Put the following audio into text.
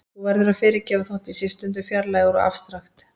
Þú verður að fyrirgefa þótt ég sé stundum fjarlægur og afstrakt.